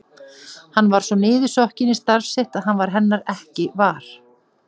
Hann var svo niðursokkinn í starf sitt að hann varð hennar ekki var.